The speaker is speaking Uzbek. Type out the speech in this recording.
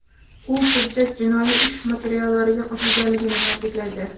U hujjat jinoiy ish materiallariga qo‘shilganligini ta’kidlaydi.